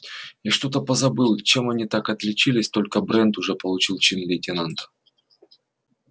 я что-то позабыл чем они так отличились только брент уже получил чин лейтенанта